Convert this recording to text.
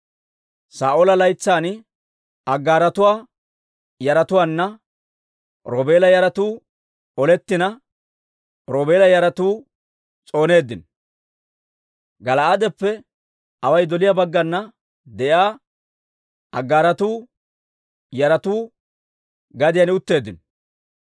Saa'oola laytsan Aggaaratuwaa yaratuwaanna Roobeela yaratuu olettina, Roobeela yaratuu s'ooneeddino. Gala'aadeppe away doliyaa baggana de'iyaa Aggaaratuwaa yaratuu gadiyaan utteeddino.